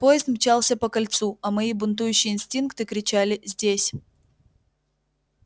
поезд мчался по кольцу а мои бунтующие инстинкты кричали здесь